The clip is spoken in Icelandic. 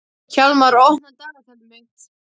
Hjálmur, opnaðu dagatalið mitt.